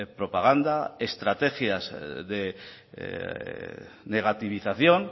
propaganda estrategias de negativización